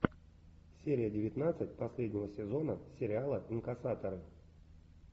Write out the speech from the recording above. серия девятнадцать последнего сезона сериала инкассаторы